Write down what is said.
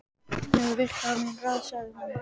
Ef þú vilt hafa mín ráð, sagði hún.